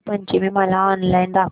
वसंत पंचमी मला ऑनलाइन दाखव